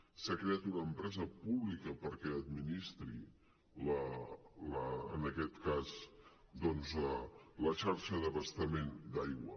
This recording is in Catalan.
s’ha creat una empresa pública perquè administri en aquest cas doncs la xarxa d’abastament d’aigua